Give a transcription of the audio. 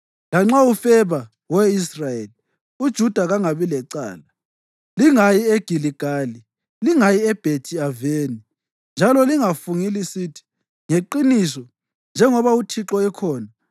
Lanxa ufeba, we Israyeli, uJuda kangabi lecala. Lingayi eGiligali; lingayi eBhethi-Aveni. Njalo lingafungi lisithi, ‘Ngeqiniso njengoba uThixo ekhona!’